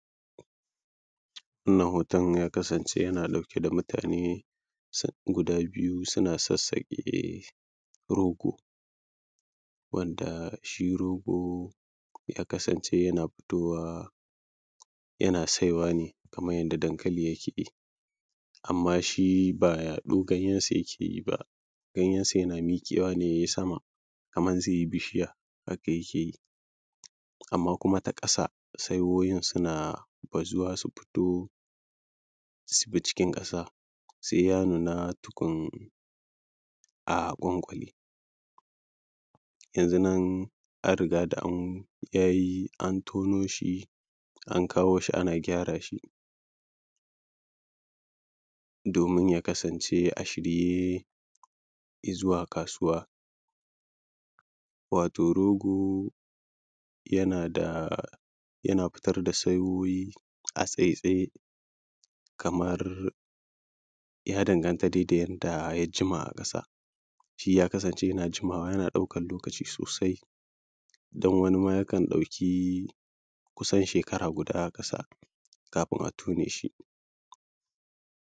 wannan hoton ya kasanʧe yana ɗauke da mutane guda biyu suna sassaƙe rogo wanda shi rogo ya kasance yana fitowa yana saiwa ne kaman yanda dankali yake yi amma shi ba yaɗo ganyensa yake yi ba ganyensa yana miƙewa ne ya yi sama kaman zai yi bishiya haka yake yi amma ta ƙasa saiwoyin suna bazuwa su fito su bi cikin ƙasa sai ya nuna tukun a ƙwanƙale yanzu nan an riga da an ya yi an tono shi an kawo shi ana gyara shi domin ya kasance a shirye i zuwa kasuwa wato rogo yana da yana fito da saiwoyi a tsaitsaye kamar ya danganta dai da yanda ya jima a ƙasa shi ya kasance yana jimawa yana ɗaukan lokaci sosai don wani ma yakan ɗauki kusan shekara guda a ƙasa kafin a tone shi